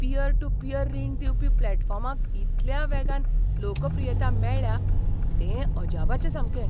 Pier to peer रीण दिवपी प्लॅटफॉर्मांक इतल्या वेगान लोकप्रियता मेळ्ळ्या तें अजापाचें सामकें.